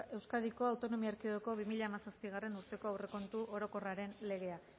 euskadiko autonomia erkidegoko bi mila hamazazpigarrena urteko aurrekontu orokorraren legea